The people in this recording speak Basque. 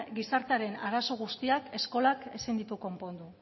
gizartearen arazo guztiak eskolak ezin ditu konpondu